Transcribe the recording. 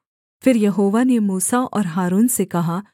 फिर यहोवा ने मूसा और हारून से कहा